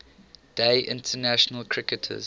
day international cricketers